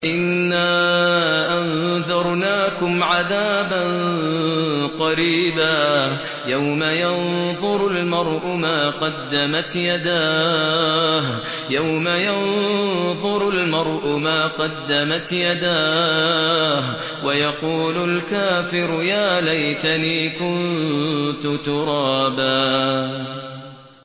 إِنَّا أَنذَرْنَاكُمْ عَذَابًا قَرِيبًا يَوْمَ يَنظُرُ الْمَرْءُ مَا قَدَّمَتْ يَدَاهُ وَيَقُولُ الْكَافِرُ يَا لَيْتَنِي كُنتُ تُرَابًا